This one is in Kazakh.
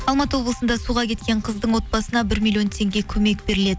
алматы облысында суға кеткен қыздың отбасына бір миллион теңге көмек беріледі